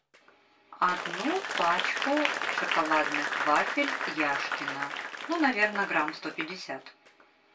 одну пачку шоколадных вафель яшкино ну наверное грамм сто пятьдесят